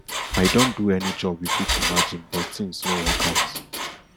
i don do any job you fit imagine but tins no work out